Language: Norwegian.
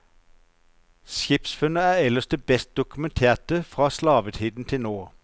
Skipsfunnet er ellers det best dokumenterte fra slavetiden til nå.